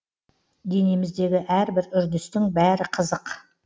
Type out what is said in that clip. денеміздегі әрбір үрдістің бәрі қызық